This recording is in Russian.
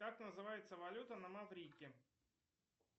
как называется валюта на маврике